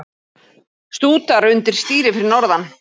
Stútar undir stýri fyrir norðan